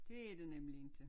Det er det nemlig ikke